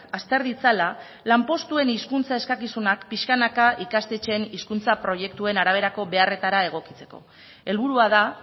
azter ditzala lanpostuen hizkuntza eskakizunak pixkanaka ikastetxeen hizkuntza proiektuen araberako beharretara egokitzeko helburua da